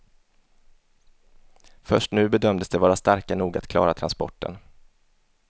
Först nu bedömdes de vara starka nog att klara transporten.